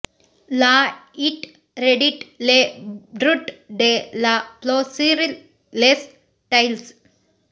ಲಾ ಇಟ್ ರೆಡಿಟ್ ಲೆ ಬ್ರುಟ್ ಡೆ ಲಾ ಪ್ಲೂ ಸಿರ್ ಲೆಸ್ ಟೈಲ್ಸ್